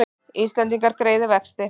Íslendingar greiði vexti